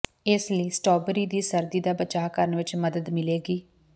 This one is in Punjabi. ਇਸ ਨਾਲ ਸਟ੍ਰਾਬੇਰੀ ਦੀ ਸਰਦੀ ਦਾ ਬਚਾਅ ਕਰਨ ਵਿੱਚ ਮਦਦ ਮਿਲੇਗੀ